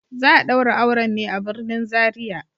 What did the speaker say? Za a daura auren ne a birnin Zaria.